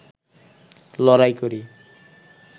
লড়াই করি